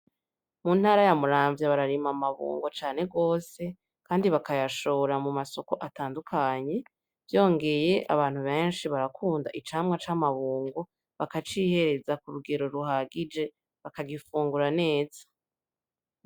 Mu ntara ya Muramvya bararima amabungo cane gose kandi bakayashora mu masoko atandukanye vyongeye abantu beshi barakunda icamwa c'amabungo bakaciyereza kurugero ruhagije bakagifungura neza.